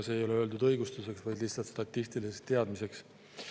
See ei ole öeldud õigustuseks, vaid lihtsalt statistiliseks teadmiseks.